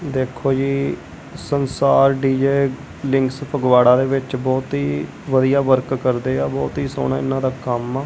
ਦੇਖੋ ਜੀ ਸੰਸਾਰ ਡੀਜੇ ਡਿੰਗਸ ਫਗਵਾੜਾ ਦੇ ਵਿੱਚ ਬਹੁਤ ਹੀ ਵਧੀਆ ਵਰਕ ਕਰਦੇ ਆ ਬਹੁਤ ਹੀ ਸੋਹਣਾ ਇਹਨਾਂ ਦਾ ਕੰਮ ਆ।